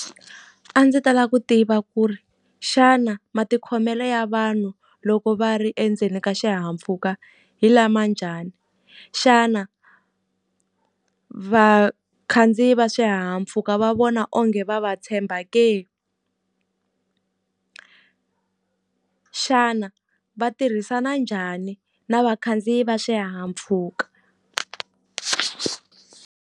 A ndzi ta lava ku tiva ku ri, xana matikhomelo ya vanhu loko va ri endzeni ka xihahampfhuka hi lama njhani? Xana vakhandziyi va hahampfhuka va vona onge va va tshemba ke? Xana va tirhisana njhani na vakhandziyi va swihahampfuka?